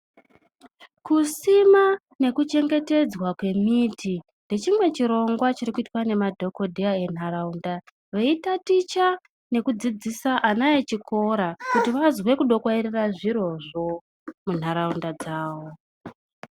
Kusima nekuchengetedzwa kwemiti ndechimwe chirongwa chirikuitwa ngemadhogodheya entaraunda veitaticha nekudzidzisa ana echikora kuti vazwe kudokwairira zvirozvo munharaunda dzavo.